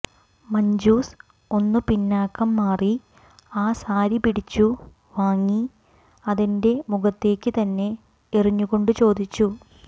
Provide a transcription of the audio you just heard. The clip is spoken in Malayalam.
മഞ്ജുസ് ഒന്ന് പിന്നാക്കം മാറി ആ സാരി പിടിച്ചു വാങ്ങി അതെന്റെ മുഖത്തേക്ക് തന്നെ എറിഞ്ഞുകൊണ്ട് ചോദിച്ചു